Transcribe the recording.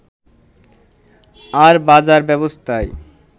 আর বাজার ব্যবস্থায়